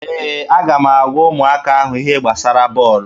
Ee, aga m agwa ụmụaka ahụ ihe gbasara bọọlụ.